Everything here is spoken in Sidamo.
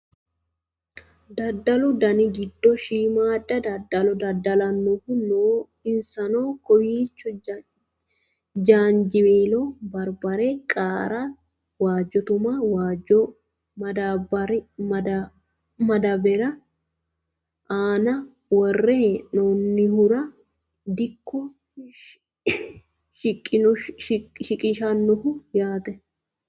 daddalu dani giddo shiimmaadda daddalo daddallanihu no insano kowiicho jaanjiweelo, barbare qaara, waajjo tuma waajju madaabbari aana worre hidhannohura dikko shiqinshoonniho yaate